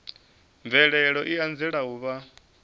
mvelelo i anzela u vha